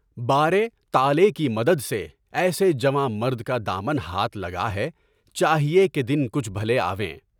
بارے، طالع کی مدد سے ایسے جوان مرد کا دامن ہاتھ لگا ہے، چاہیے کہ دن کچھ بھلے آئیں۔